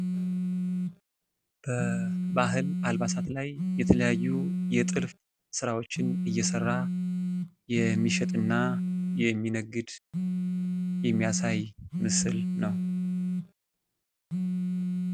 በባህል አልባሳት ላይ የተለያዩ የጥልፍ ስራዎችን እየሰራ የሚሸጥና የሚነግድ የሚያሳይ ምስል ነው ።